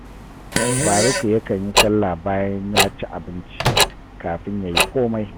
Faruku yakan yi sallah bayan ya ci abinci kafin ya yi komai